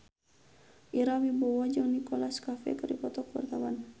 Ira Wibowo jeung Nicholas Cafe keur dipoto ku wartawan